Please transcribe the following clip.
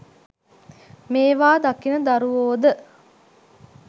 මේවා දකින දරුවෝද